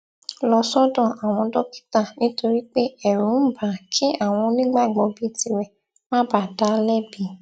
lọ sódò àwọn dókítà nítorí pé èrù ń bà á kí àwọn onígbàgbọ bíi tirẹ má baà dá a lébi